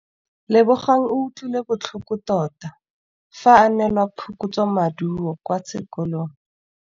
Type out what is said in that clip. Lebogang o utlwile botlhoko tota fa a neelwa phokotsômaduô kwa sekolong.